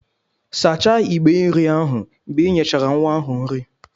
Sachaa ìgbé nri ahụ mgbe ị nyechara nwa ahụ nri